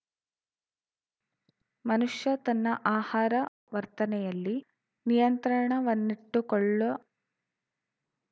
ಮನುಷ್ಯ ತನ್ನ ಆಹಾರ ವರ್ತನೆಯಲ್ಲಿ ನಿಯಂತ್ರಣವನ್ನಿಟ್ಟುಕೊಳ್ಳ